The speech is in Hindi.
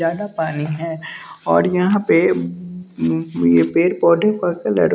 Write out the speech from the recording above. ज्यादा पानी है और यहाँ पे उ ये पेड़ पौढे का कलर --